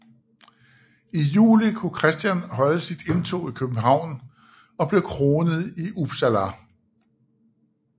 I juli kunne Christian holde sit indtog i Stockholm og blev kronet i Uppsala